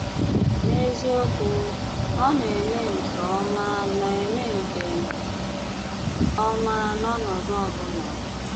N’ezíokwù, ọ na-eme nkè ómá na-eme nkè ómá n’ọnọdụ ọ̀bụ̀là.